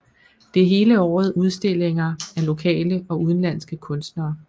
Der er hele året udstillinger af lokale og udenlandske kunstnere